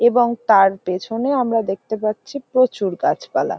এবং তাঁর পেছনে আমরা দেখতে পাচ্ছি প্রচুর গাছপালা।